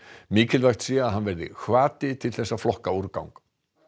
mikilvægt sé að hann verði hvati til að flokka úrgang